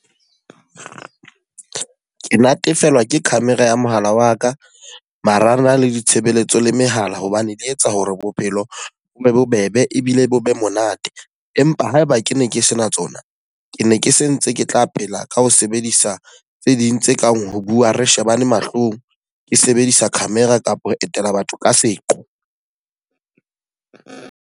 Ke natefelwa ke camera ya mohala wa ka, marangrang le ditshebeletso le mehala. Hobane di etsa hore bophelo bo be bobebe ebile bo be monate. Empa haeba ke ke ne ke sena tsona, ke ne ke sentse ke tla pela ka ho sebedisa tse ding tse kang ho bua re shebane mahlong, ke sebedisa camera kapa ho etela batho ka seqo.